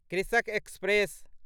कृषक एक्सप्रेस